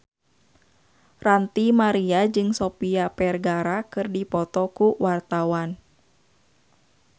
Ranty Maria jeung Sofia Vergara keur dipoto ku wartawan